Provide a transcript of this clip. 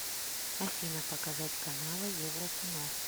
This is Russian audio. афина показать каналы еврокино